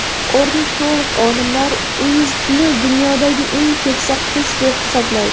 Ornitolog olimlar Uizdni dunyodagi eng keksa qush deb hisoblaydi.